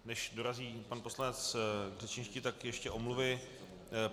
Než dorazí pan poslanec k řečništi, tak ještě omluvy.